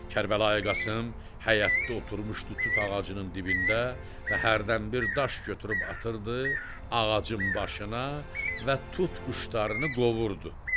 Kərbəlayi Qasım həyətdə oturmuşdu tut ağacının dibində və hərdənbir daş götürüb atırdı ağacın başına və tut quşlarını qovurdu.